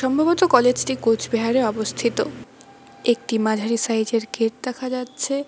সম্ভবত কলেজ -টি কোচবিহারে অবস্থিত একটি মাঝারি সাইজ -এর গেট দেখা যাচ্ছে।